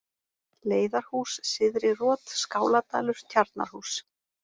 Leiðarhús, Syðri-Rot, Skáladalur, Tjarnarhús